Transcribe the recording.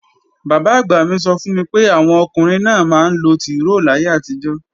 Bàbá-àgbà mí sọ fún mi pé, àwọn ọkùnrin náà máa ńlo tìróò láyé àtijó